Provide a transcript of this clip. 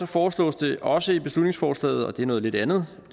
foreslås det også i beslutningsforslaget og det er noget lidt andet